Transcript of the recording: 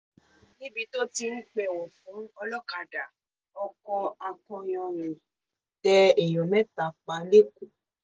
níbi tó ti ń pẹ̀wọ̀ fún ọlọ́kadà ọkọ akọyanrìn tẹ èèyàn mẹ́ta pa lẹ́kọ̀ọ́